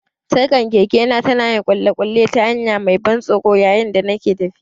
Sarkar kekena ta na yin ƙulle-ƙulle ta hanya mai ban tsoro yayin da nake tafiya.